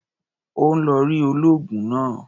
Ó ń lọ rí olóògùn náà.